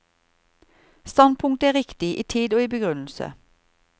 Standpunktet er riktig, i tid og i begrunnelse.